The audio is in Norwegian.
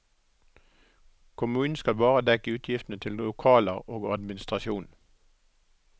Kommunen skal bare dekke utgiftene til lokaler og administrasjon.